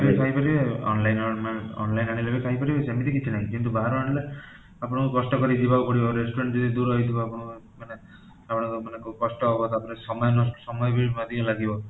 ଖାଇପାରିବେ, online, online ରୁ ଆଣିଲେ ବି ଖାଇପାରିବେ ସେମିତି କିଛି ନାହିଁ କିନ୍ତୁ ବାହାରୁ ଆଣିଲେ ଆପଣଙ୍କୁ କଷ୍ଟ କରି ଯିବାକୁ ପଡିବ, ଯଦି restaurant ଦୂର ହେଇଥିବା ଆପଣଙ୍କର ମାନେ କଷ୍ଟ ହବ, ସମୟ ନଷ୍ଟ, ସମୟ ବି ଅଧିକା ଲାଗିବ